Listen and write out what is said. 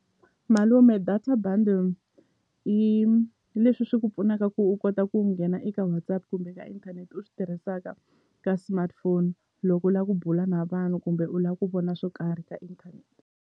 Malume data buddle i leswi swi ku pfunaka ku u kota ku nghena eka WhatsApp kumbe ka inthanete u swi tirhisaka ka smartphone loko u la ku bula na vanhu kumbe u la ku vona swo karhi ka inthanete.